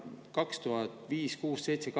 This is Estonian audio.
2005, 2006, 2007, 2008 …